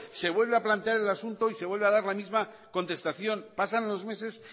se vuelve a plantear el asunto y se vuelve a dar la misma contestación pasan los meses